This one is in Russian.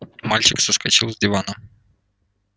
мальчик соскочил с дивана